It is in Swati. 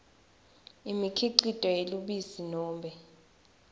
imikhicito yelubisi nobe